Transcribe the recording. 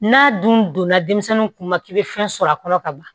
N'a dun donna denmisɛnninw kunna k'i bɛ fɛn sɔrɔ a kɔnɔ ka ban